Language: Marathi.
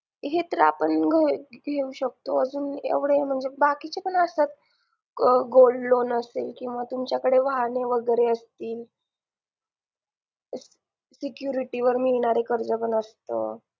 हे तर आपण घेऊ शकतो अजून एवढे म्हणजे बाकीचे पण असतात gold loan असेल किंवा तुमच्याकडे वाहने वगैरे असतील security वर मिळणारे कर्ज पण असतं